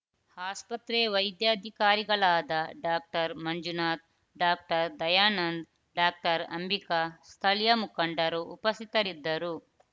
ಆಸ್ಪತ್ರೆ ವೈದ್ಯಾಧಿಕಾರಿಗಳಾದ doctor Manjunath doctor Dayanand doctor Ambika ಸ್ಥಳೀಯ ಮುಖಂಡರು ಉಪಸಿತರಿದ್ದರು